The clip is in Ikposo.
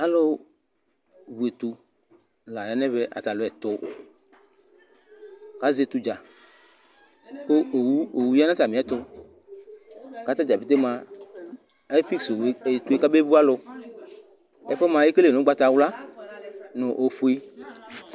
Alu vʋ etu la ya nʋ ɛvɛ atalʋ ɛtu kʋ azɛ etu dza kʋ owu ya nʋ atami ɛtu kʋ atadza pete fix etu ye kamevʋ alu Ɛkʋɛ ekele nʋ ugbatawla nʋ ɔfʋe